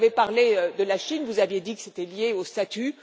Vous avez parlé de la Chine, vous avez dit que c'était lié au statut.